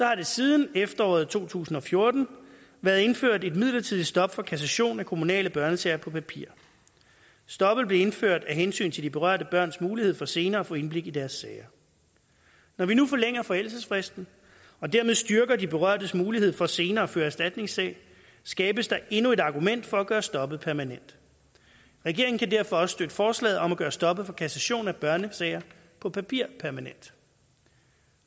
har der siden efteråret to tusind og fjorten været indført et midlertidigt stop for kassation af kommunale børnesager på papir stoppet blev indført af hensyn til de berørte børns mulighed for senere at få indblik i deres sager når vi nu forlænger forældelsesfristen og dermed styrker de berørtes mulighed for senere at føre erstatningssag skabes der endnu et argument for at gøre stoppet permanent regeringen kan derfor også støtte forslaget om at gøre stoppet for kassation af børnesager på papir permanent